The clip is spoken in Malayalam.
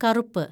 കറുപ്പ്